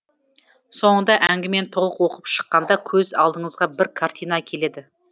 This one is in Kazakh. соңында әңгімені толық оқып шыққанда көз алдыңызға бір картина келеді